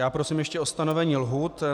Já prosím ještě o stanovení lhůt.